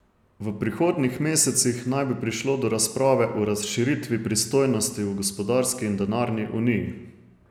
V prihodnjih mesecih naj bi prišlo do razprave o razširitvi pristojnosti v gospodarski in denarni uniji.